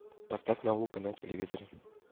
поставь наука на телевизоре